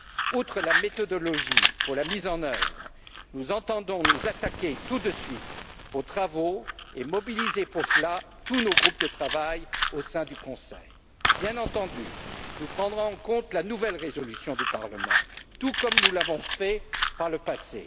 Outre la méthodologie pour la mise en œuvre, nous entendons nous attaquer tout de suite aux travaux et mobiliser à cet effet tous nos groupes de travail au sein du Conseil. Bien entendu, nous prendrons en compte la nouvelle résolution du Parlement, tout comme nous l'avons fait par le passé.